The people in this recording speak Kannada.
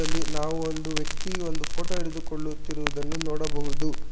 ಇಲ್ಲಿ ನಾವು ಒಂದು ವ್ಯಕ್ತಿ ಒಂದು ಫೋಟೋ ಇಡಿದು ಕೊಳ್ಳುತ್ತಿರುವುದನ್ನು ನೋಡಬಹುದು.